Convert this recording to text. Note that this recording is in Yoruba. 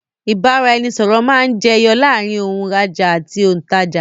ìbáraẹnisọọ̀rọ̀ máa ń jẹ yọ láàrín òun rajá àti olùtajà